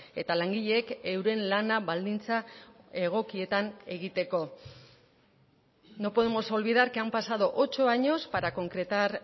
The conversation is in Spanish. eta langileek euren lana baldintza egokietan egiteko no podemos olvidar que han pasado ocho años para concretar